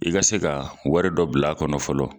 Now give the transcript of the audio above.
I ka se ka wari dɔ bila kɔnɔ fɔlɔ